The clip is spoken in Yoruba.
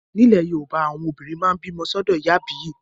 Ní ilẹ̀ Yorùbá, àwọn olóyún máa ń bímọ sọ́dọ̀ ìyá àbíyè